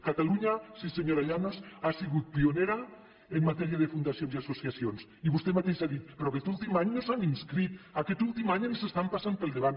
catalunya sí senyora llanos ha sigut pionera en matèria de fundacions i associacions i vostè mateixa ha dit però aquest últim any no s’han inscrit aquest últim any ens estan passant pel davant